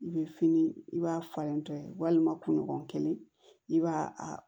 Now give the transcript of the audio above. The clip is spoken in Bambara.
I bɛ fini i b'a falen tɔ ye walima kunɲɔgɔn kelen i b'a a